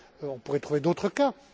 On pourrait trouver d'autres cas.